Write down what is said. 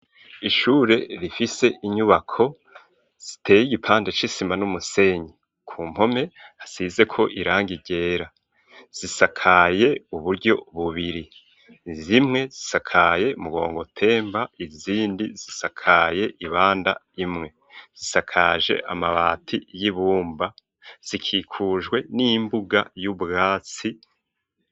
Ishure rifise inyubako ziteye igipande c'isima n'umusenyi. Ku mpome hasizeko irangi ryera. Zisakaye uburyo bubiri. Zimwe zisakaye mugongotemba, izindi zisakaye ibanda imwe. Zisakaje amabati y'ibumba, zikikujwe n'imbuga y'ubwatsi.